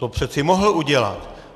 To přece mohl udělat.